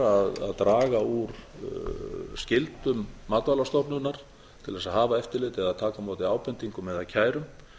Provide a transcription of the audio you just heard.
að draga úr skyldum matvælastofnunar til þess að hafa eftirlitið eða að taka á móti ábendingum eða kærum